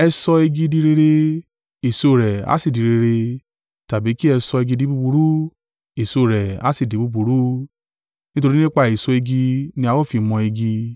“E sọ igi di rere, èso rẹ̀ a sì di rere tàbí kí ẹ sọ igi di búburú, èso rẹ a sì di búburú, nítorí nípa èso igi ni a ó fi mọ̀ igi.